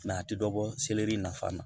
a tɛ dɔ bɔ selɛri na fana na